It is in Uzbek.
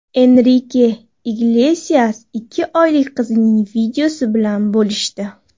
Enrike Iglesias ikki oylik qizining videosi bilan bo‘lishdi .